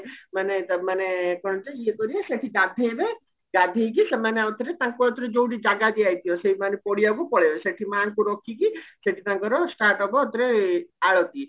ମାନେ ତା ମାନେ ଇଏ କରିବେ ସେଠି ଗାଧେଇବେ ଗାଧେଇକି ସେମାନେ ଆଉ ଥରେ ତାଙ୍କ ଜାଗା ଦିଆ ଯାଇଥିବା ସେଇମାନେ ପଡିଆକୁ ପଳେଇବେ ସେଠି ମାଙ୍କୁ ରଖିକି ଶେଠୀ ତାଙ୍କର start ହବ ଆଳତି